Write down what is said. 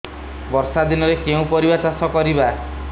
ବର୍ଷା ଦିନରେ କେଉଁ କେଉଁ ପରିବା ଚାଷ କରିବା